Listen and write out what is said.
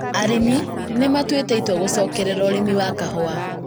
Arĩmi nĩmatuĩte itua gũcokerera ũrĩmi wa kahũa